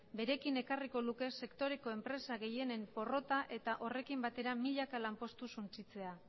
berekin ekarriko luke sektoreko enpresa gehienen porrota eta horrekin batera milaka lanpostu suntsitzea